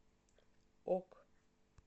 ок